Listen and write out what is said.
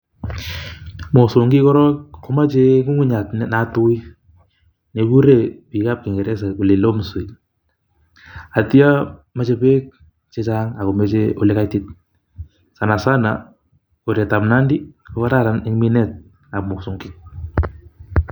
Mosongik koron komachei ng'ung'uchat ne natui negurei bikab kingeresa loam soil, atyo mejei beek che chang ako mejei ole kaitit. Sanasana koretab nandi, kokararan eng minetab mosongik.